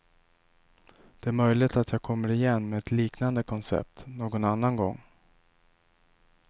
Det är möjligt jag kommer igen med ett liknande koncept, någon annan gång.